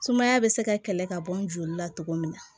Sumaya bɛ se ka kɛlɛ ka bɔ n joli la cogo min na